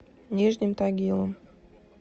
нижним тагилом